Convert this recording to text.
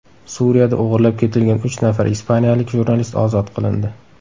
Suriyada o‘g‘irlab ketilgan uch nafar ispaniyalik jurnalist ozod qilindi.